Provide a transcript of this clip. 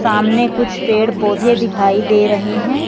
सामने कुछ पेड़ पौधे दिखाई दे रहे हैं।